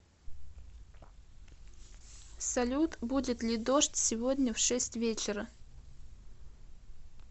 салют будет ли дождь сегодня в шесть вечера